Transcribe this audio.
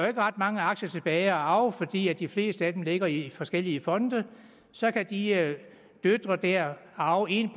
er ret mange aktier tilbage at arve fordi de fleste af dem ligger i forskellige fonde så kan de døtre der arve en